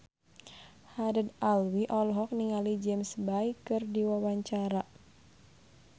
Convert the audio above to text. Haddad Alwi olohok ningali James Bay keur diwawancara